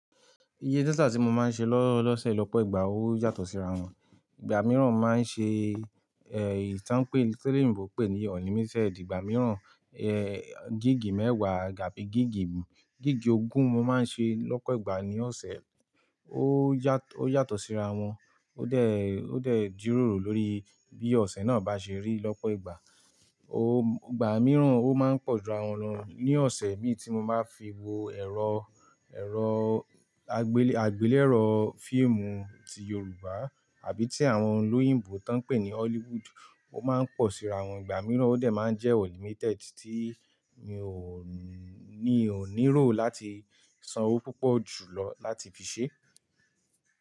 Iye data tí mo máa ń ṣe lọ́sẹ̀ lọ́pọ̀ ìgbà ó yàtọ̀ síra wọn. Ìgbà mìíràn máa ń ṣe, èyí tàn pé, tí oloyínbo pè ní unlimited. Ìgbà mìíràn, gíìgì mẹ́wàá gàbí gíìgì, gíìgì ogún mo máa ń ṣe lọ́pọ̀ ìgbà ní ọ̀sẹ̀. Ó yàtọ̀, ó yàtọ̀ síra wọn. Ó dẹ̀, ó dẹ̀ jíròrò lórí bí ọ̀sẹ̀ náà bá ṣe rí lọ́pọ̀ ìgbà. Ó ìgbà mìíran ó máa ń pọ̀ ju rà wọn lọ, ní ọ̀sẹ̀ mí tí mo bá fi wo ẹ̀rọ, ẹ̀rọ àgbélé, àgbélẹ̀rọ fíìmù ti Yorùbá àbí tí àwọn olóyìnbo tán pè ní Hollywood. Ó máa ń pọ̀ síra wọn. Ìgbà mìíràn ó dẹ̀ máa ń jẹ́ unlimited tí mi ò ní, ò níró láti san owó púpọ̀ jù lọ láti fi ṣe.